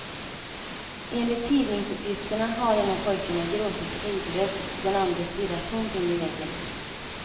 Enligt tidningsuppgifterna har en av pojkarna gråtit hejdlöst och den andre stirrat tomt in i väggen.